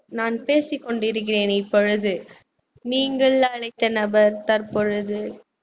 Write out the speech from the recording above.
நான் பேசிக்கொண்டு இருக்கிறேன் இப்பொழுது நீங்கள் அழைத்த நபர் தற்பொழுது